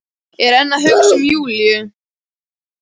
Er enn að hugsa um Júlíu.